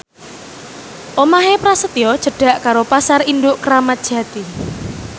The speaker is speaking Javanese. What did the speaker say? omahe Prasetyo cedhak karo Pasar Induk Kramat Jati